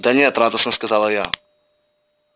да нет радостно сказала я